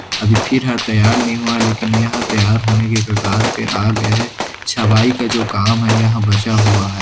अभी फिर हाल तैयार नहीं हुआ लेकिन यहाँ तैयार होने के कगार पे आ गया है छबाई का जो काम है यहाँ बचा हुआ है।